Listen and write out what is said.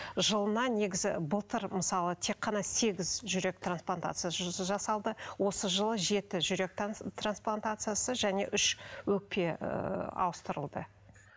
жылына негізі былтыр мысалы тек қана сегіз жүрек трансплантациясы жасалды осы жылы жеті жүрек трансплантациясы және үш өкпе ыыы ауыстырылды